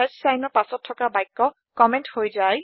চাইনৰ পাছত থকা বাক্য কম্মেন্ট হৈ যায়